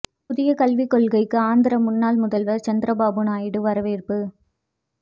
புதியக் கல்விக் கொள்கைக்கு ஆந்திர முன்னாள் முதல்வர் சந்திரபாபு நாயுடு வரவேற்பு